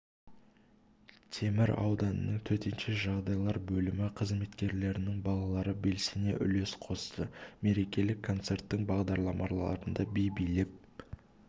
темір ауданының төтенше жағдайлар бөлімі қызметкерлерінің балалары белсене үлес қосты мерекелік концерттің бағдарламаларында би билеп